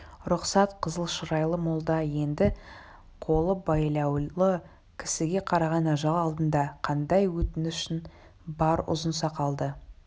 рұқсат қызыл шырайлы молда енді қолы байлаулы кісіге қараған ажал алдында қандай өтінішің бар ұзын сақалды